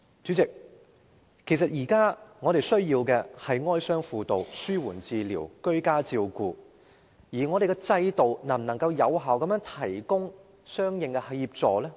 主席，其實我們現時最需要的是哀傷輔導、紓緩治療和居家照顧服務，但我們的制度能否有效地提供相應的協助？